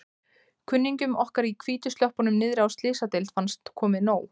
Kunningjum okkar í hvítu sloppunum niðri á Slysadeild fannst komið nóg.